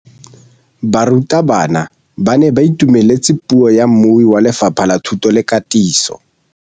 Barutabana ba ne ba itumeletse puô ya mmui wa Lefapha la Thuto le Katiso.